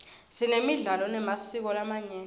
sinemidlalo nemasiko lamanyenti